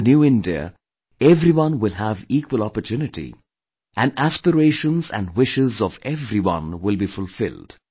In the New India everyone will have equal opportunity and aspirations and wishes of everyone will be fulfilled